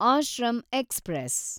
ashram express